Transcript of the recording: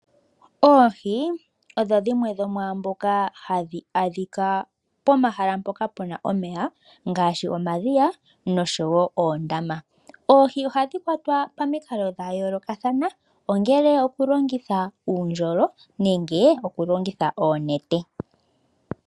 Oohi odho dhimwe dhomwaamboka hadhi adhika pomahala mpoka puna omeya ngaashi, omadhiya nosho wo oondama. Oohi ohadhi kwatwa pomaludhi gayolokathana, ongele okulongitha uundjolo nenge okulongitha oonete.